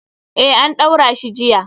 Eh, an ɗaura shi jiya.